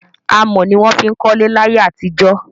Amọ̀ ní wọn ń fí kọlé láyé àtijọ́.